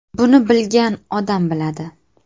Buni bilgan odam biladi.